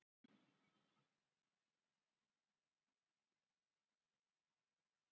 í neðra horninu vinstra megin eru mælitæki stjörnufræðinganna